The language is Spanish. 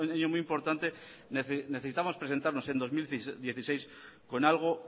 es un año muy importante necesitamos presentarnos en dos mil dieciséis con algo